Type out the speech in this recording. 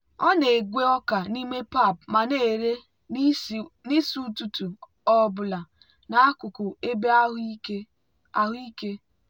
ọ na-egwe ọka n'ime pap ma na-ere n'isi ụtụtụ ọ bụla n'akụkụ ebe ahụ ike.